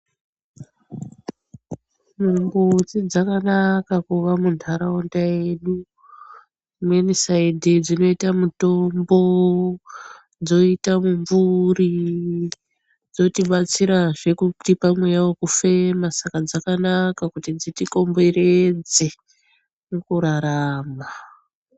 Mumbuti dzakanaka kuva munharaunda yedu. Rimweni saidhi dzinoita mutombo, dzoita mumvuri, dzotibatsirazve kutipa mweya wekufema. saka dzakanaka kuti dzitikomberedze mukurarama.